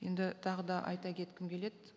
енді тағы да айта кеткім келеді